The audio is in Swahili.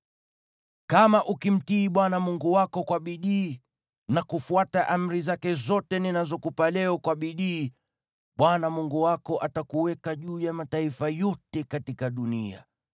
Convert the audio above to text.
Kama ukimtii Bwana Mungu wako kwa bidii na kufuata amri zake zote ninazokupa leo kwa bidii, Bwana Mungu wako atakuweka juu ya mataifa yote katika dunia.